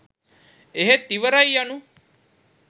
එහෙත් ඉවරයි යනු